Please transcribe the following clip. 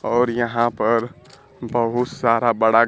और यहां पर बहुत सारा बड़ा--